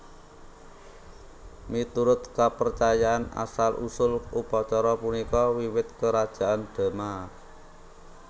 Miturut kapercayan asal usul upacara punika wiwit Kerajaan Dema